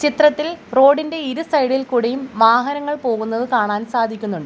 ചിത്രത്തിൽ റോഡ് ഇന്റെ ഇരു സൈഡ് ഇൽ കൂടിയും വാഹനങ്ങൾ പോകുന്നത് കാണാൻ സാധിക്കുന്നുണ്ട്.